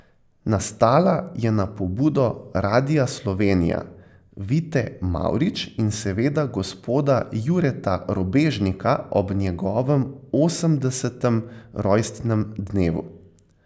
Nastala je na pobudo Radia Slovenija, Vite Mavrič in seveda gospoda Jureta Robežnika ob njegovem osemdesetem rojstnem dnevu.